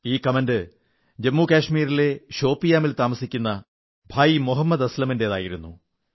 ഈ കമന്റെ ജമ്മു കശ്മീരിലെ ഷോപ്പിയാനിൽ താമസിക്കുന്ന ഭായി മുഹമ്മദ് അസ്ലമിന്റേതായിരുന്നു